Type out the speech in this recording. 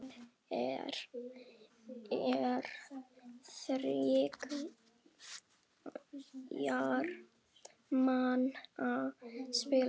Lomber er þriggja manna spil.